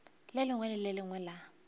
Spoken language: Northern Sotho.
lengwe le le lengwe la